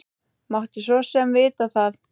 Mátti svo sem vita það.